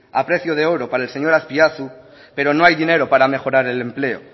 a precio de oro para el señor azpiazu pero no hay dinero para mejorar el empleo